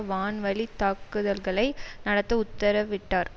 வான்வழி தாக்குதல்களை நடத்த உத்தரவிட்டார்